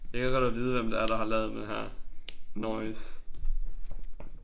Jeg gad godt at vide hvem det er der har lavet den her noise